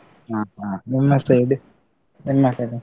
ಹ ಹ, ನಿಮ್ಮ side ಏನ್ಮಾಡ್ತರೆ?